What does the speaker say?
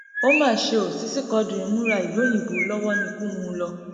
ó mà ṣe o sisi quadri ń múra ìlú òyìnbó lọwọ níkù mú un lọ